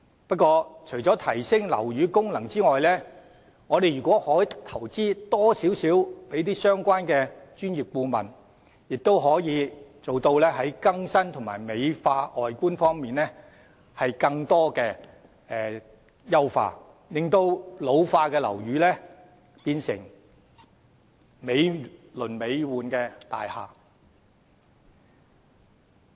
不過，除了提升樓宇的功能外，如果我們可以在相關的專業顧問方面多作一點投資，亦可更新及美化樓宇外觀，令老化的樓宇變身成為美輪美奐的大廈。